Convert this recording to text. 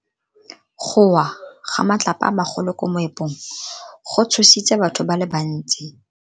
Go wa ga matlapa a magolo ko moepong go tshositse batho ba le bantsi.